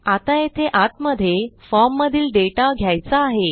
आता येथे आतमधे फॉर्ममधील डेटा घ्यायचा आहे